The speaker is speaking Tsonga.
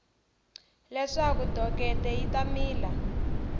leswaku dokete yi ta mila